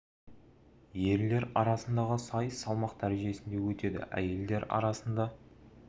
ерлер арасындағы сайыс салмақ дәрежесінде өтеді әйелдер арасында